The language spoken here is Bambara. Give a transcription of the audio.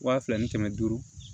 Wa fila ni kɛmɛ duuru